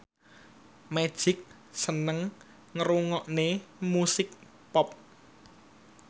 Magic seneng ngrungokne musik pop